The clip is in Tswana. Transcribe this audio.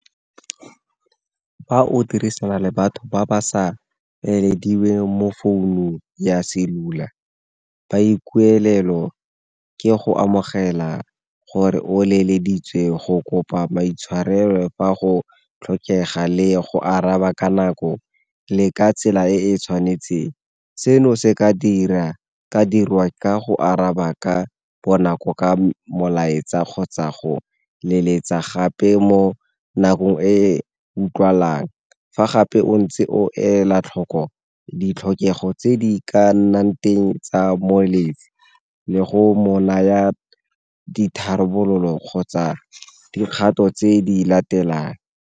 Fa o dirisana le batho ba ba sa mo founung ya selula, ba ke go amogela gore o leleditswe go kopa maitshwarelo fa go tlhokega le go araba ka nako le ka tsela e e tshwanetseng. Seno se ka dirwa ka go araba ka bonako ka molaetsa kgotsa go leletsa gape mo nakong e utlwalang, fa gape o ntse o ela tlhoko ditlhokego tse di ka nnang teng tsa moletsi le go mo naya ditharabololo kgotsa dikgato tse di latelang.